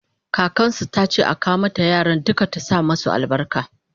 kakansu tace a kawo mata yaran duka ta sa masu albarka